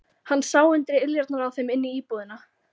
Hann sá undir iljarnar á þeim inn í íbúðina.